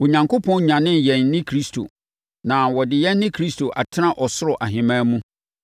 Onyankopɔn nyanee yɛn ne Kristo, na ɔde yɛn ne Kristo atena ɔsoro ahemman mu